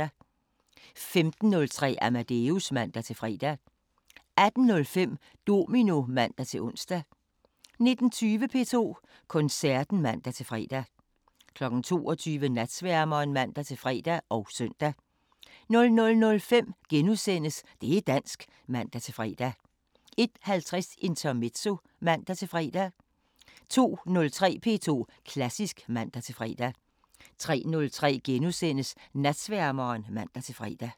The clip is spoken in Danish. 15:03: Amadeus (man-fre) 18:05: Domino (man-ons) 19:20: P2 Koncerten (man-fre) 22:00: Natsværmeren (man-fre og søn) 00:05: Det' dansk *(man-fre) 01:50: Intermezzo (man-fre) 02:03: P2 Klassisk (man-fre) 03:03: Natsværmeren *(man-fre)